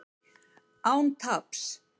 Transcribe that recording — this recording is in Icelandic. Án taps